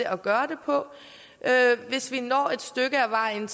at gøre det på hvis vi når et stykke af vejen